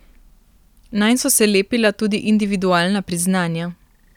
Nanj so se lepila tudi individualna priznanja.